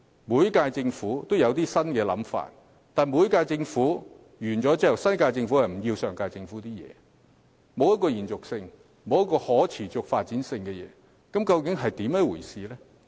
每屆政府也有新想法，但當每屆政府任期屆滿後，新一屆政府便棄掉上屆政府的措施，既未能延續，亦無法持續發展，這究竟是甚麼一回事呢？